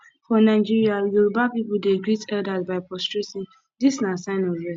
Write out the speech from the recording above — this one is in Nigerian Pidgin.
for nigeria yoruba pipo dey greet elders by prostrating this na sign of respect